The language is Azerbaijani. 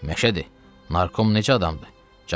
Məşədi, narkom neçə adamdır?